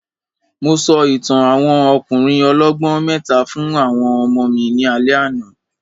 Mo sọ ìtàn àwọn ọkùnrin ọlọ́gbọ́n mẹ́ta fún àwọn ọmọ mi ní alẹ́ àná